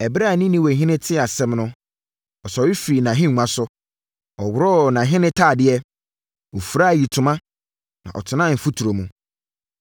Ɛberɛ a Ninewehene tee asɛm no, ɔsɔre firii nʼahennwa so, ɔworɔɔ nʼahenetadeɛ, Ɔfiraa ayitoma, na ɔtenaa mfuturo mu.